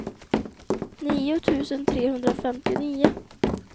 nio tusen trehundrafemtionio